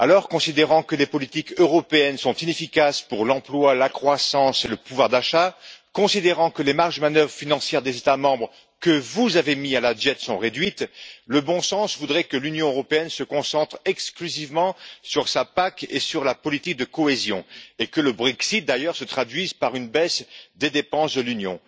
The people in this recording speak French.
Considérant que les politiques européennes sont inefficaces pour l'emploi, la croissance et le pouvoir d'achat, considérant que les marges de manœuvres financières des États membres que vous avez mis à la diète sont réduites, le bon sens voudrait que l'Union européenne se concentre exclusivement sur sa PAC et sur la politique de cohésion et que le Brexit, d'ailleurs, se traduise par une baisse des dépenses de l'Union.